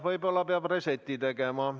Võib-olla peab restardi tegema.